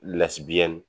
Lasigi biyɛn